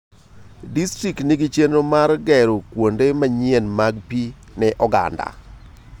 Disrikt nigi chenro mar gero kuonde manyien mag pii ne oganda.